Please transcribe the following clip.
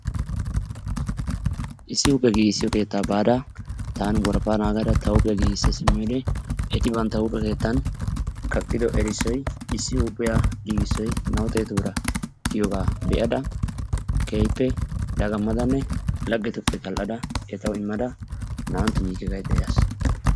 Issi huuphphiya giigissiyo keettaa baada taani worafaa naagada ta huuphiya giigisa simiyode eti bantta huuphe keettan kerttan kaqido errisoy issi huuphiya giigisoy na'aau xeetu biraa giyoogaa be'ada keehippe dagamadaanne laggetuppe tal'adda etawu immada naa'antyo yiike gaydda yaas.